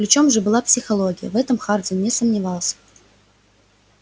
ключом же была психология в этом хардин не сомневался